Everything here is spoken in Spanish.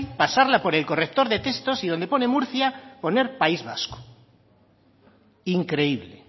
pasarla por el corrector de textos y donde pone murcia poner país vasco increíble